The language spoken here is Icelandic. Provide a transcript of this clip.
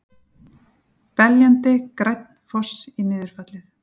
Beljandi, grænn foss í niðurfallið.